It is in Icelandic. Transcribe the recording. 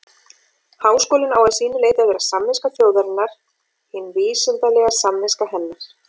Háskólinn á að sínu leyti að vera samviska þjóðarinnar, hin vísindalega samviska hennar.